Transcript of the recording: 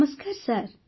Namaste sir